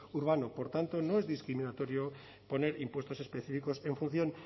urbano por tanto no es discriminatorio poner impuestos específicos en función